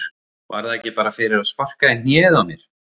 Var það ekki bara fyrir að sparka í hnéð á mér?